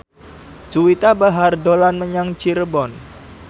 Juwita Bahar dolan menyang Cirebon